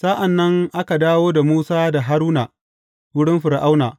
Sa’an nan aka dawo da Musa da Haruna wurin Fir’auna.